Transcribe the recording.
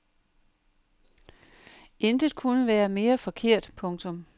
Intet kunne være mere forkert. punktum